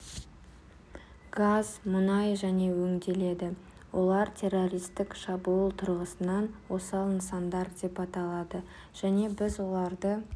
газ мұнай және өңделеді олар террористік шабуыл тұрғысынан осал нысандар деп аталады және біз оларды